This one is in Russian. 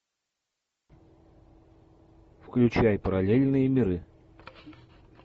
включай параллельные миры